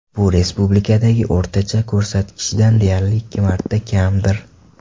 Bu respublikadagi o‘rtacha ko‘rsatkichdan deyarli ikki marta kamdir.